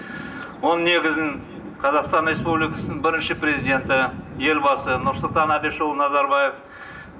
оның негізін қазақстан республикасының бірінші президенті елбасы нұрсұлтан абишұлы назарбаев